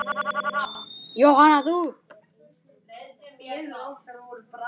Jóhanna: Þú?